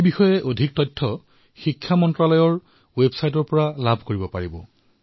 ইয়াৰ সৈতে জড়িত তথ্যসমূহ শিক্ষা মন্ত্ৰালয়ৰ ৱেবছাইটত উপলব্ধ হব